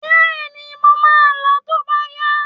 Bẹ́ẹ̀ni, mo máa lọọ tó bá yá